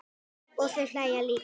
Og þau hlæja líka.